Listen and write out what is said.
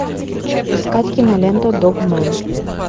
искать киноленту догмен